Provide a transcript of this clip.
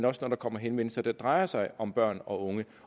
og når der kommer henvendelser der drejer sig om børn og unge